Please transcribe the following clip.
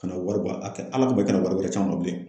Kana wari bɔ a kɛ Ala kama i kana wari wɛrɛ c'an ma bilen.